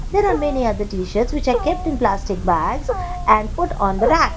there are many other tshirts which are kept in plastic bags and put on the rack.